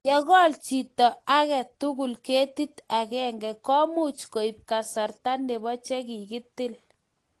Ye kol chito age tugul ketit agenge ko much kuib kasarta nebo che kikitil.